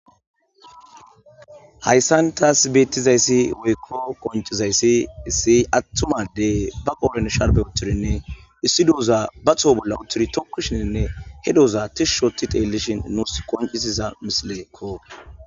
hayssan taas beettizayssi woykko qonchizayssi issi attumadey ba qoren sharbe uturinne issi douza ba tho bolla utturi tokkushininne he douza tishshoti teellishin nuus qoncisiza misileekko